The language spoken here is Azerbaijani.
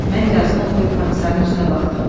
Mən yazını oxuyub komissarın üzünə baxdım.